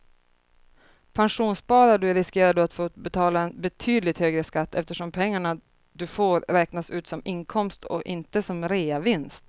Pensionssparar du riskerar du att få betala en betydligt högre skatt eftersom pengarna du får ut räknas som inkomst och inte som reavinst.